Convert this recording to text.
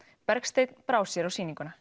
Bergsteinn brá sér á sýninguna